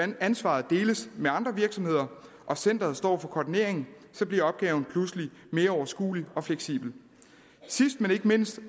ansvaret deles med andre virksomheder og centeret står for koordineringen så bliver opgaven pludselig mere overskuelig og fleksibel sidst men ikke mindst